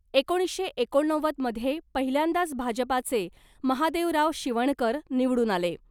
एकोणीसशे एकोणनव्वदमध्ये पहिल्यांदाच भाजपाचे महादेवराव शिवणकर निवडून आले .